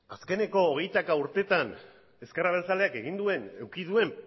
azkeneko hogeita hamar urteetan ezker abertzaleak eduki duen